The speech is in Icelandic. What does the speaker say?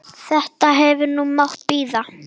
Þetta hefði nú mátt bíða.